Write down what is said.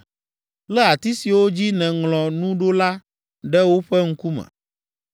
Lé ati siwo dzi nèŋlɔ nu ɖo la ɖe woƒe ŋkume,